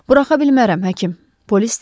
Bıraxa bilmərəm, həkim, polis dedi.